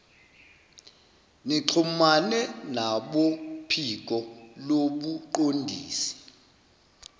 nixhumane nabophiko lobuqondisi